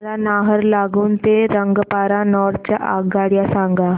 मला नाहरलागुन ते रंगपारा नॉर्थ च्या आगगाड्या सांगा